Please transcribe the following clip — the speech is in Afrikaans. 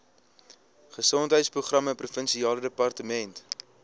gesondheidsprogramme provinsiale departement